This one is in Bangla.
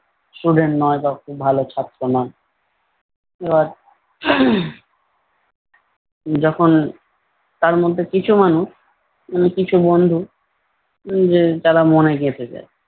student নয় বা খুব ভালো ছাত্র নয়। এরা যখন তার মধ্যে কিছু মানুষ উম কিছু বন্ধু উম যে তারা মনে গেঁথে যায়।